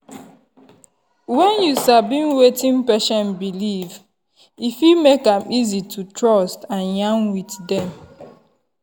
when you sabi wetin patient believe e fit make am easy to trust and yarn with them.